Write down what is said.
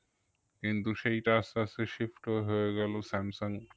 কিন্তু সেইটা আস্তে আস্তে shift হয়ে হয়ে গেলো স্যামসাঙ